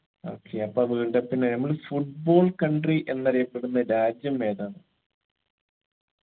okay അപ്പൊ world cup നെ നമ്മൾ football country എന്നറിയപ്പെടുന്ന രാജ്യം ഏതാന്ന്